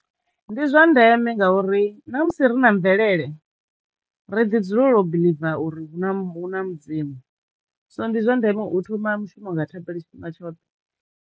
Ndi zwa ndeme ngauri na musi ri na mvelele ri ḓi dzulela u biḽiva uri hu na hu na mudzimu so ndi zwa ndeme u thoma mushumo nga thabelo tshifhinga tshoṱhe.